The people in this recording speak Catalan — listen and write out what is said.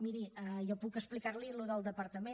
miri jo puc explicar li el que és del departament